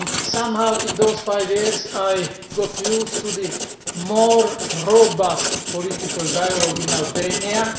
Somehow, in those five years, I got used to the more robust political dialogue in Albania.